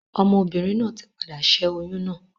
Ọmọ obìnrin náà ti padà ṣẹ́ oyún náà.